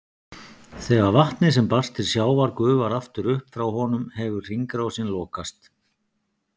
Þegar vatnið sem barst til sjávar gufar aftur upp frá honum hefur hringrásin lokast.